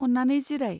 अन्नानै जिराय।